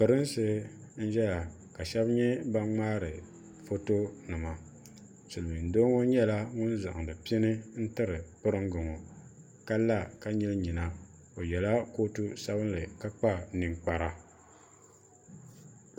pirinsi n ʒɛya ka shab nyɛ ban ŋmaari foto nima silmiin doo ŋɔ nyɛla ŋun zaŋdi pini n tiri piringi ŋɔ ka la ka nyili nyina o yɛla kootu sabinli ka kpa ninkpara